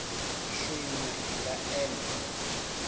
swin we hi nga endla